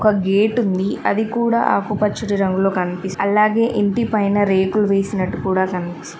ఒక గేటు ఉంది అది కూడా ఆకు పచ్చటి రంగులో కనిపిస్తు అలాగే ఇంటిపైన రేకుల్ వేసినట్టు కూడా కనిపిస్తూ --